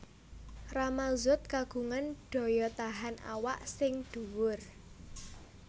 Rama Zoet kagungan daya tahan awak sing dhuwur